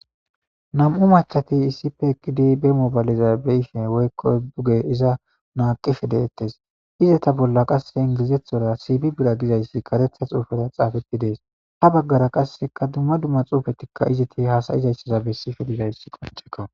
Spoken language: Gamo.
Nam7u machati iisipe ekidi be moobaliza be ishe woykko buge iza maaqife deettes izata bolla qasse ingilizethora siipi bira gizayssi karetha xuufeta xaafeti dees ha baggara qasseka dumma dumma xuufetikka iziti haasayizayssaza bessife dizayssi qonchekko.